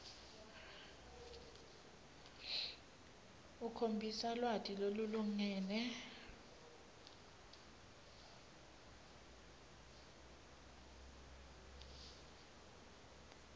ukhombisa lwati lolulingene